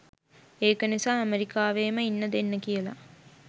ඒක නිසා ඇමරිකාවේම ඉන්න දෙන්න කියලා